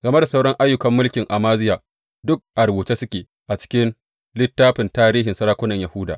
Game da sauran ayyukan mulkin Amaziya, duk a rubuce suke a cikin littafin tarihin sarakunan Yahuda.